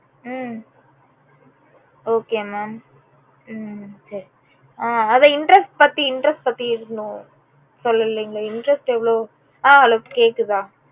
உம் okay mam உம் சரி ஆஹ் அத interest பத்தி interest பத்தி ஏதும் சொல்லலைங்களே interest எவளோ அஹ் hello கேட்குதா